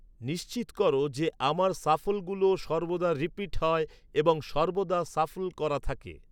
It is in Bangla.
নিশ্চিত কর যে আমার শাফলগুলো সর্বদা রিপিট হয় এবং সর্বদা শাফল্ করা থাকে